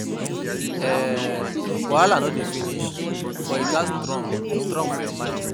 um Wahala no dey finish, but you gats strong strong your mind.